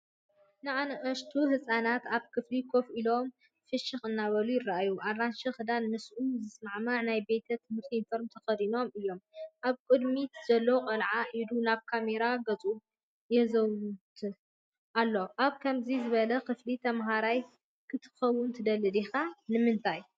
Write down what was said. ንኣሽቱ ህጻናት ኣብ ክፍሊ ኮፍ ኢሎም ፍሽኽ እናበሉ ይረኣዩ። ኣራንሺ ክዳንን ምስኡ ዝሰማማዕ ናይ ቤት ትምህርቲ ዩኒፎርምን ተኸዲኖም እዮም። ኣብ ቅድሚት ዘሎ ቆልዓ ኢዱ ናብ ካሜራ ገጹ የወዛውዝ ኣሎ። ኣብ ከምዚ ዝበለ ክፍሊ ተማሃራይ ክትከውን ትደሊ ዲኻ? ንምንታይ?